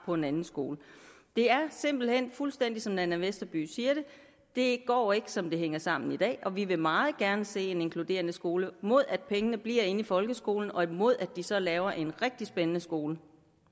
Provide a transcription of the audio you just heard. på en anden skole det er simpelt hen fuldstændig som fru nanna westerby siger det det går ikke som det hænger sammen i dag og vi vil meget gerne se en inkluderende skole mod at pengene bliver i folkeskolen og mod at de så laver en rigtig spændende skole